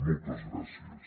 moltes gràcies